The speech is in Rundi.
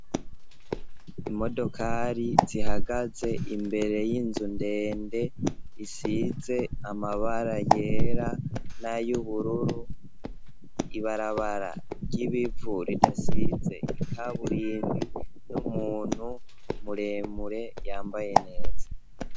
Imodokari zihagaze imbere y'inzu ndende, isize amabara yera n'ay'ubururu, ibarabara ry'ibivu ridasize ikaburimbi, n'umuntu muremure yambaye neza.